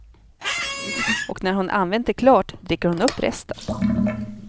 Och när hon använt det klart dricker hon upp resten.